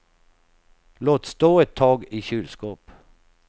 Låt stå ett tag i kylskåp.